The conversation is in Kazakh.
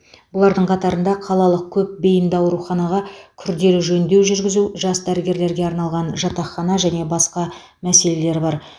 бұлардың қатарында қалалық көп бейінді ауруханаға күрделі жөндеу жүргізу жас дәрігерлерге арналған жатақхана және басқа мәселелер бар